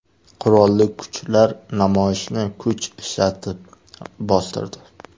Qurolli kuchlar namoyishni kuch ishlatib bostirdi.